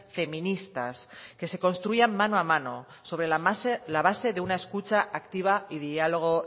feministas que se construyan mano a mano sobre la base de una escucha activa y diálogo